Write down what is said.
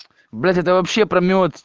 блять это вообще про мёд